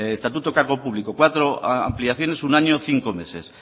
estatuto cargo público cuatro ampliaciones un año cinco meses